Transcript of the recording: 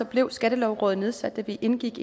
blev skattelovrådet nedsat da vi indgik